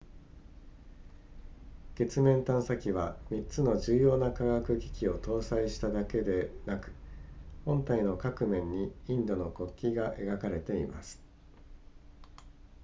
月面探査機は3つの重要な科学機器を搭載しただけでなく本体の各面にインドの国旗が描かれています